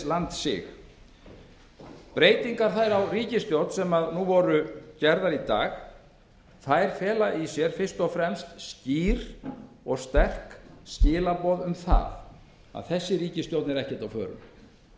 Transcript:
landsig þær breytingar á ríkisstjórn sem voru gerðar í dag fela fyrst og fremst í sér skýr og sterk skilaboð um að þessi ríkisstjórn er ekkert á förum